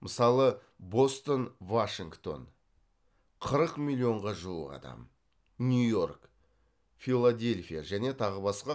мысалы бостон вашингтон нью йорк филадельфия және тағы басқа